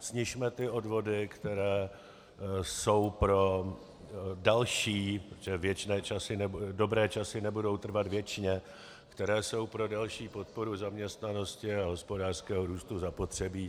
snižme ty odvody, které jsou pro další, protože dobré časy nebudou trvat věčně, které jsou pro další podporu zaměstnanosti a hospodářského růstu zapotřebí.